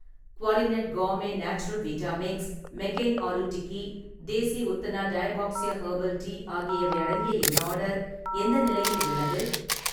குவாலினட் Gourmet Natural Vita Mix, McCain aloo tikki, Desi Utthana டயாபாக்ஸ்யா herbal tea ஆகியவை அடங்கிய என் ஆர்டர் எந்த நிலையில் உள்ளது?